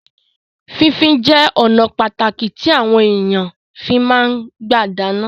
Fífín jẹ ọnà pàtàkì tí àwọn èèyàn fi máa ń gbà dáná